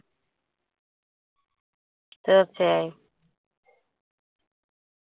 തീര്‍ച്ചയായും.